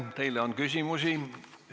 Teile on küsimusi.